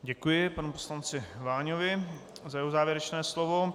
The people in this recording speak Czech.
Děkuji panu poslanci Váňovi za jeho závěrečné slovo.